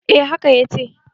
eh haka ya ce